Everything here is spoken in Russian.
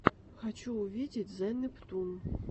хочу увидеть зе нептун